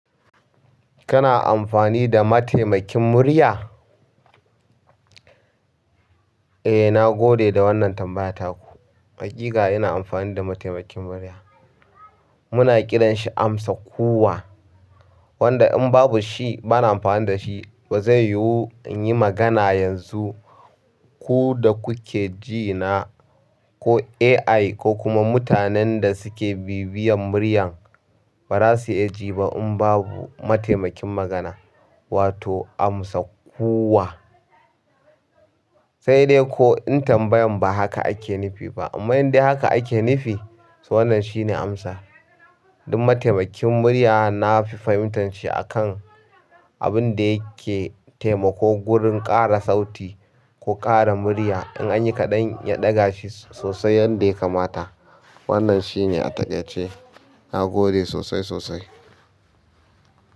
Kana amfani da mataimakin murya? Eh, na gode da wannan tambaya taku. Haƙiƙa ina amfani da mataimakin murya. Muna kiran shi amsa kuwwa. Wanda in babu shi bana amfani da shi ba zai yiwu in yi magana yanzu. Ku da kuke ji na ko AI ko kuma mutanen da suke bibiyan muryan barasu iya jiba in babu mataimakin magana wato amsa kuwa. Sai dai ko in tambayan ba haka ake nufi ba. Amma in dai haka ake nufi, to wannan shine amsa. Ku da kuke ji na ko AI ko kuma mutanen da suke bibiyan muryan abinda yake temako gurin ƙara sauti ko ƙara murya in anyi kaɗan ya ɗaga shi sosai yadda ya kamata. Wannan shine a taƙaice. Na gode sosai sosai.